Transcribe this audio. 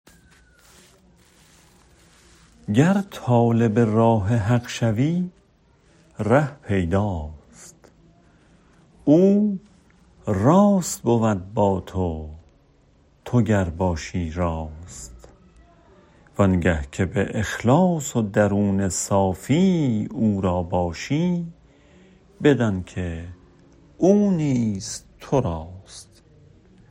گر طالب راه حق شوی ره پیداست او راست بود با تو تو گر باشی راست وآنگه که به اخلاص و درون صافی او را باشی بدان که او نیز تو راست